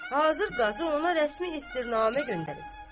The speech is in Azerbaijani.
Hazır qazı ona rəsmi istirnamə göndərib.